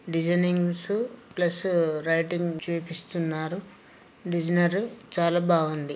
ఈ ఫోటో చూసినట్టు ఐతే స్కూల్లో క్లాస్ లో మేడం అంద్ ఆ పిల్లల అందరికి డిజైనింగ్స్ ప్లస్ రైటింగ్ చేపిస్తునారు. డెసినేరి చాలా బాగుంది.